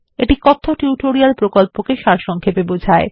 এটি কথ্য টিউটোরিয়াল প্রকল্পকে সারসংক্ষেপে বোঝায়